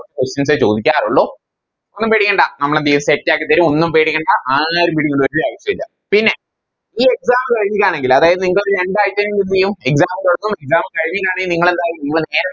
Questions എ ചോദിക്കാറുള്ളു ഒന്നും പേടിക്കണ്ട നമ്മളെന്തേയും Set ആക്കി തരും ഒന്നും പേടിക്കണ്ട ആരും പേടിക്കണ്ട ഒരാവശ്യോല്ല പിന്നെ ഈ Exam എഴുതുകയാണെങ്കില് അതായത് നിങ്ങക്കെന്തേയും രണ്ടായ്ച്ച കഴിഞ്ഞെന്തേയും Exam തൊടങ്ങും Exam കഴിഞ്ഞിട്ടാണെ നിങ്ങളെന്താ ഇതുപോലെ നേരെ